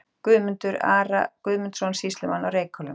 Guðmundar, Ara Guðmundsson, sýslumann á Reykhólum.